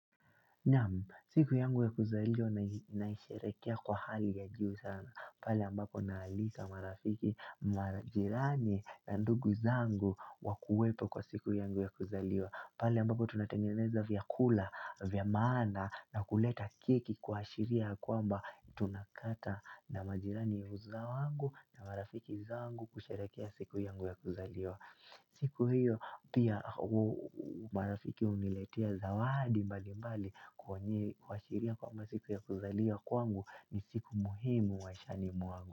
Siku yangu ya kuzaliwa naisherekea kwa hali ya juu sana. Pala ambako naalika marafiki majirani na ndugu zangu wa kuwepo kwa siku yangu ya kuzaliwa. Pala ambako tunatengeneza vya kula, vya maana na kuleta keki kuashiria yakwa mba tuna kata na marajirani uza wangu na marafiki zangu kusherekea siku yangu ya kuzaliwa. Siku hiyo pia marafiki uniletia zawadi mbali mbali kuashiria kwamba siku ya kuzalia kwangu ni siku muhimu maishani mwangu.